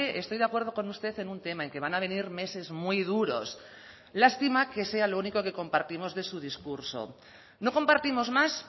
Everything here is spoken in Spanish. estoy de acuerdo con usted en un tema en que van a venir meses muy duros lástima que sea lo único que compartimos de su discurso no compartimos más